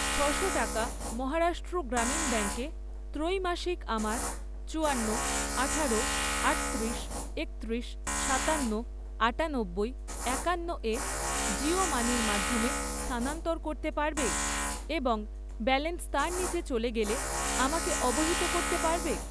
ছশো টাকা মহারাষ্ট্র গ্রামীণ ব্যাঙ্কে ত্রৈমাসিক আমার চুয়ান্ন, আঠারো, আটত্রিশ, একত্রিশ, সাতান্ন, আটানব্বই, একান্ন এ জিও মানির মাধ্যমে স্থানান্তর করতে পারবে এবং ব্যালেন্স তার নিচে চলে গেলে আমাকে অবহিত করতে পারবে?